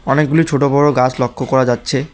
অনেকগুলি ছোট বড় গাছ লক্ষ্য করা যাচ্ছে।